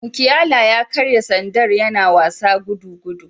Mukiala ya karya sandar yana wasa gudugudu